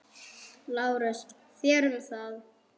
LÁRUS: Þér um það.